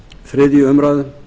þriðju umræðu